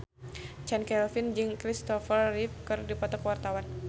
Chand Kelvin jeung Christopher Reeve keur dipoto ku wartawan